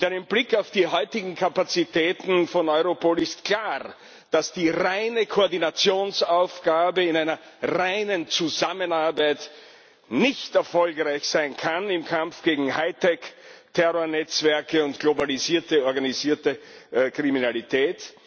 Mit einem Blick auf die heutigen Kapazitäten von Europol ist klar, dass die reine Koordinationsaufgabe in einer reinen Zusammenarbeit nicht erfolgreich sein kann im Kampf gegen Hightech Terrornetzwerke und globalisierte organisierte Kriminalität.